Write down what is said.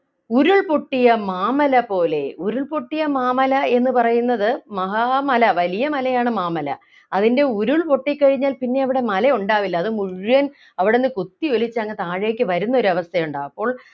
ഉരുൾപൊട്ടിയ മാമല പോലെ ഉരുൾപൊട്ടിയ മാമല എന്ന് പറയുന്നത് മഹാ മല വലിയ മലയാണ് മാമല അതിൻ്റെ ഉരുൾപൊട്ടിക്കഴിഞ്ഞാൽ പിന്നെ അവിടെ മലയുണ്ടാവില്ല അത് മുഴുവൻ അവിടന്ന് കുത്തിയൊലിച്ചങ്ങു താഴേക്ക് വരുന്നൊരവസ്ഥയുണ്ടാവും അപ്പോൾ